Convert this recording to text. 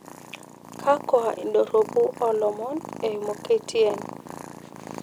kwakwa indorropu oo ilomon eyimu k.t.n